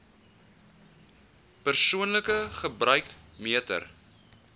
persoonlike gebruik meter